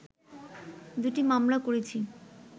দুটি মামলা করেছি